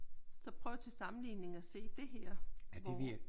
Så prøv til sammenligning at se det her hvor